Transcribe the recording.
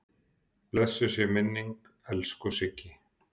Blessuð sé minning elsku Siggu.